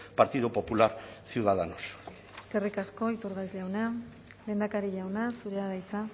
partido popular ciudadanos eskerrik asko iturgaiz jauna lehendakari jauna zurea da hitza